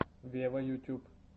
вево ютюб